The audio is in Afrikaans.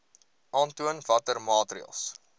aantoon watter maatreëls